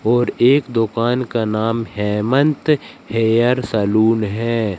और एक दुकान का नाम हेमंत हेयर सलून है।